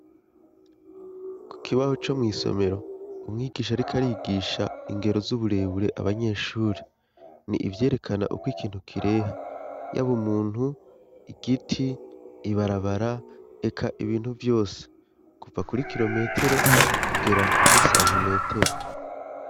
Ku kibaho co mw' isomero, umwigish'arik' arigisha ingero z'uburebure abanyeshuri, ni ivyerekana ukw' ikintu kireha y'aba umuntu, igiti, ibarabara, eka ibintu vyose ,kuva kuri kirometero kugera kuri santimetero.